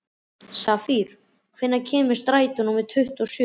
Safír, hvenær kemur strætó númer tuttugu og sjö?